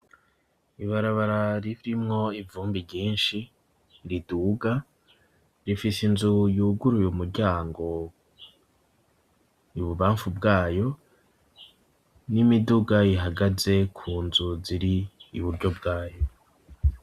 Ibarabara ririmwo ivumbi ryinshi riduga rifise inzu yuguruy'umuryango ibubamfu bwayo n'imiduga ihagaze ku nzu zir'iburyo bwayo.